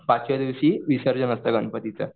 पाचव्या दिवशी विसर्जन असतं गणपतीचं.